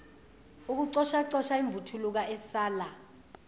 ukucoshacosha imvuthuluka esala